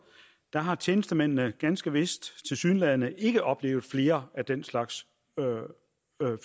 har tjenestemændene ganske vist tilsyneladende ikke oplevet flere af den slags